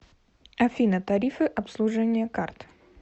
афина тарифы обслуживания карт